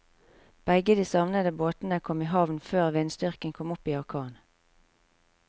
Begge de savnede båtene kom i havn før vindstyrken kom opp i orkan.